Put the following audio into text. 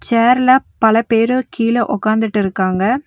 சேர்ல பல பேரு கீழ உக்காந்துட்டுருக்காங்க.